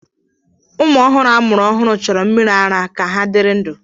ụmụ ọhụrụ amụrụ ọhụrụ chọrọ mmiri ara ara ka ha dịrị ndụ